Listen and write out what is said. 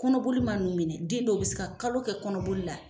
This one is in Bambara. Kɔnɔboli man'u minɛ, den dɔw bɛ se ka kalo kelen kɛ kɔnɔoli la.